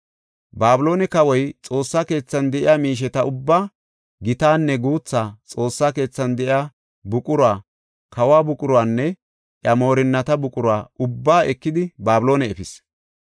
Babiloone kawoy Xoossa keethan de7iya miisheta ubbaa, gitaanne guuthaa, Xoossa keethan de7iya buqura, kawo buquranne iya moorinnata buqura ubbaa ekidi Babiloone efis.